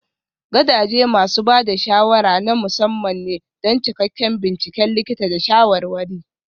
Gadaje masu ba da shawara na musamman ne don cikakken binciken likita da shawarwari.